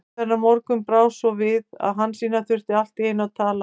En þennan morgun brá svo við að Hansína þurfti allt í einu að tala.